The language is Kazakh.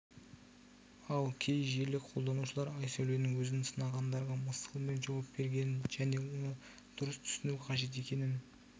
ал кей желі қолданушылары айсәуленің өзін сынағандарға мысқылмен жауап бергенін және оны дұрыс түсіну қажет екенін